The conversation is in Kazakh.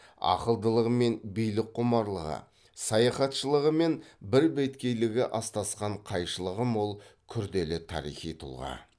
ақылдылығы мен билікқұмарлығы саяхатшылығы мен бірбеткейлігі астасқан қайшылығы мол күрделі тарихи тұлға